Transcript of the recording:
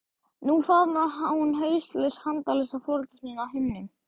Nú faðmar hún hauslaus handalausa foreldra þína á himnum.